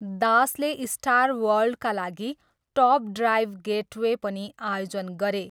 दासले स्टार वर्ल्डका लागि टप ड्राइभ गेटवे पनि आयोजन गरे।